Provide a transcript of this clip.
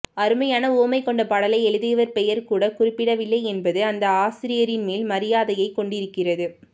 அருமையான உவமை கொண்ட பாடலை எழுதியவர் பெயர் கூட குறிப்பிடவில்லை என்பது அந்த ஆசிரியரின் மேல் மரியாதையை கொண்டிருக்கிறது